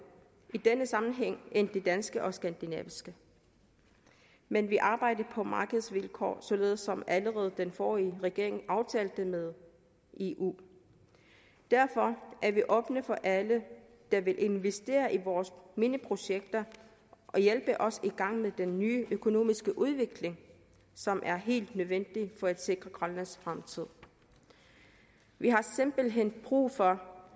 i denne sammenhæng end de danske og de skandinaviske men vi arbejder på markedsvilkår således som allerede den forrige regering aftalte med eu derfor er vi åbne over for alle der vil investere i vores mineprojekter og hjælpe os i gang med den nye økonomiske udvikling som er helt nødvendig for at sikre grønlands fremtid vi har simpelt hen brug for